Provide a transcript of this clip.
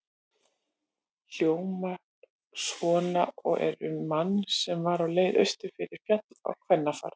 Hljómar svona og er um mann sem var á leið austur fyrir Fjall á kvennafar